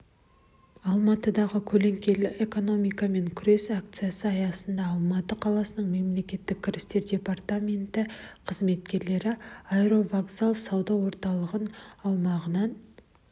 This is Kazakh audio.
алматыдағы көлеңкелі экономикамен күрес акциясы аясында алматы қаласының мемлекеттік кірістер департаменті қызметкерлері аэровокзал сауда орталығы аумағынан